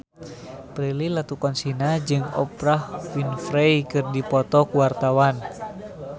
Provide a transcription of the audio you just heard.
Prilly Latuconsina jeung Oprah Winfrey keur dipoto ku wartawan